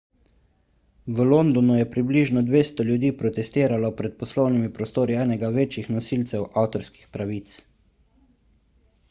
v londonu je približno 200 ljudi protestiralo pred poslovnimi prostori enega večjih nosilcev avtorskih pravic